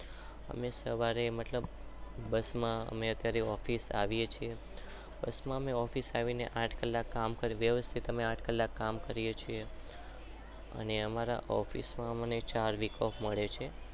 અમે સવારે મતલબ